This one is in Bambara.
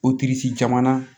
O jamana